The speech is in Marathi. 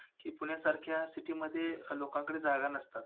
की पुण्यासारख्या city मध्ये लोकांकडे जागा नसतात.